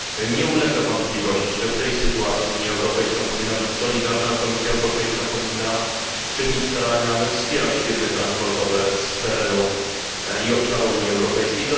Nie ulega wątpliwości, że w tej sytuacji Unia Europejska powinna być solidarna, a Komisja Europejska powinna czynić starania, aby wspierać firmy transportowe z terenu i obszaru Unii Europejskiej.